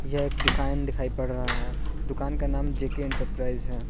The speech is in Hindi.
यह एक दुकान दिखाई पड़ रहा है दुकान का नाम जेके एंटरप्राइजेस है।